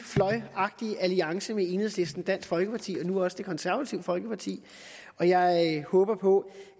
fløjagtig alliance med enhedslisten dansk folkeparti og nu også det konservative folkeparti og jeg håber på